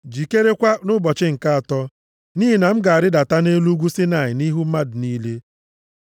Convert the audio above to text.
jikerekwa nʼụbọchị nke atọ. Nʼihi na m ga-arịdata nʼelu ugwu Saịnaị nʼihu mmadụ niile.